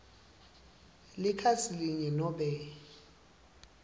likhasi linye nobe